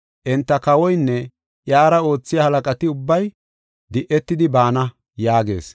Enta kawoynne iyara oothiya halaqati ubbay de7etidi baana” yaagees.